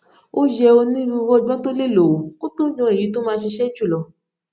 ó yẹ onírúurú ọgbón tó lè lò wò kó tó yan èyí tó máa ṣiṣé jù lọ